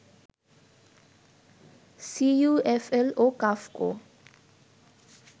CUFL ও কাফকো